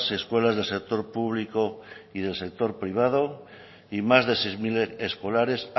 escuelas del sector público y del sector privado y más de seis mil escolares